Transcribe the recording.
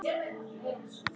Hjá Yngvari afa